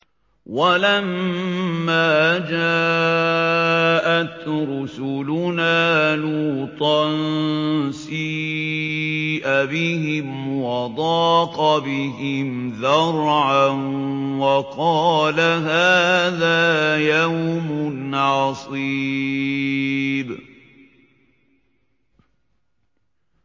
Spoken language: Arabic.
وَلَمَّا جَاءَتْ رُسُلُنَا لُوطًا سِيءَ بِهِمْ وَضَاقَ بِهِمْ ذَرْعًا وَقَالَ هَٰذَا يَوْمٌ عَصِيبٌ